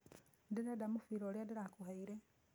Ndĩreda mũbira ũrĩa ndĩrakũheire